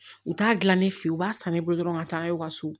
U t'a dilan ne fɛ ye u b'a san ne bolo dɔrɔn ka taa n'aw ka so